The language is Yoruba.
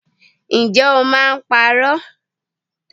Ǹjẹ́ o máa ń parọ́?